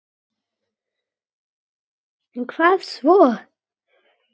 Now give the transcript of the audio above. En hvað svo?